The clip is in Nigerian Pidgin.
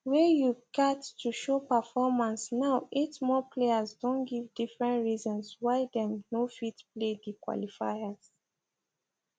wey you gat to show performance now eight more players don give different reasons why dem no fit play di qualifiers